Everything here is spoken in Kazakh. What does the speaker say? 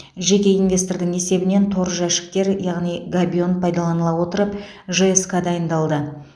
жеке инвестордың есебінен тор жәшіктер яғни габион пайдаланыла отырып жск дайындалды